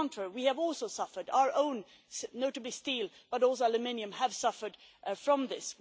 On the contrary, we have also suffered our own, notably steel, but also aluminium, have suffered from this.